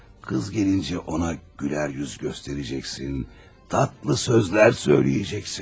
Qız gələndə ona gülərüz göstərəcəksən, şirin sözlər deyəcəksən.